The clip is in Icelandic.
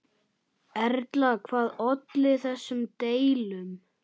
Erla, hvað olli þessum deilum?